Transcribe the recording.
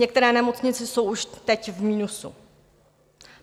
Některé nemocnice jsou už teď v minusu.